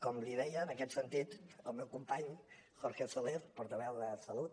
com li deia en aquest sentit el meu company jorge soler portaveu de salut